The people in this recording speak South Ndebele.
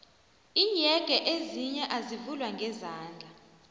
iinyege ezinye azivulwa ngezandla